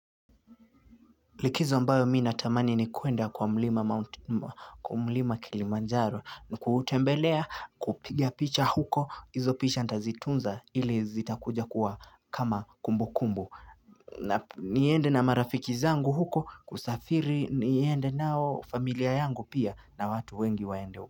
Likizo ambayo mi natamani ni kuenda kwa mlima Kilimanjaro ni kuutembelea kupigia picha huko izo picha nitazitunza ili zitakuja kuwa kama kumbukumbu niende na marafiki zangu huko kusafiri niende nao familia yangu pia na watu wengi waende huko.